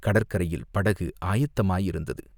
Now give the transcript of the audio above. கடற்கரையில் படகு ஆயத்தமாயிருந்தது.